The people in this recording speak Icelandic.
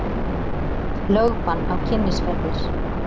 Lögbann á Kynnisferðir